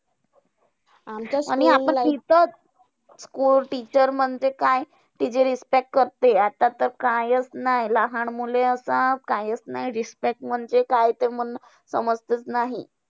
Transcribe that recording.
आणि आपण तिचा school teacher म्हणजे काय तिचा respect करते, आता तर कायचं नाही. लहान मुले आता कायचं नाय respect म्हणजे काय ते म्हणजे समजतचं नाही.